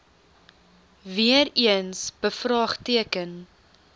weer eens bevraagteken